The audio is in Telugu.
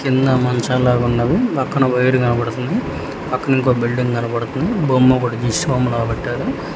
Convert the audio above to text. కింద మంచం లాగున్నవి పక్కన వైరు కనబడతుంది పక్కన ఇంకొక బిల్డింగ్ కనబడుతుంది బొమ్మోకటి గీసి ఓం లాగ పెట్టారు.